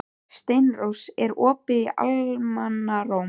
Steinrós, er opið í Almannaróm?